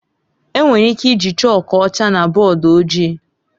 Enwere ike iji chọọku ọcha na bọọdụ ojii.